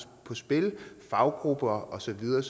på spil faggrupper og så videre